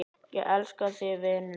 Ég elska þig, vinur minn.